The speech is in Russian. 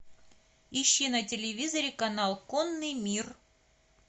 ищи на телевизоре канал конный мир